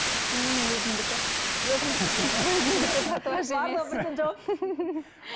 қасым өзімдікі өзімдікі иә